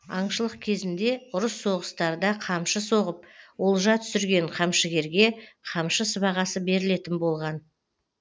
аңшылық кезінде ұрыс соғыстарда қамшы соғып олжа түсірген камшыгерге қамшы сыбағасы берілетін болған